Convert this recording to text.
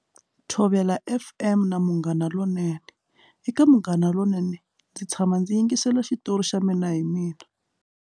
Thobela F_M na Munghana lonene eka Munghana lonene ndzi tshama ndzi yingisela xitori xa mina hi mina.